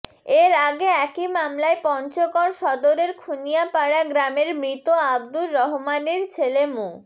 এর আগে একই মামলায় পঞ্চগড় সদরের খুনিয়াপাড়া গ্রামের মৃত আব্দুর রহমানের ছেলে মো